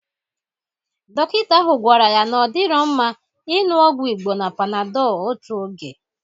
Dọkịta ahụ gwara ya na ọ dịrọ mma ịṅụ ọgwụ Igbo na Panadọl otu oge.